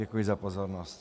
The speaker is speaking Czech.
Děkuji za pozornost.